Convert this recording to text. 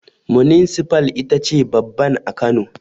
Muninsifal ita ce babban a Kano